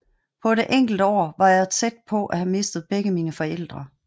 På et enkelt år var jeg tæt på at have mistet begge mine forældre